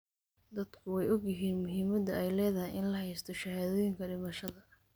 Dadku way ogyihiin muhiimadda ay leedahay in la haysto shahaadooyinka dhimashada.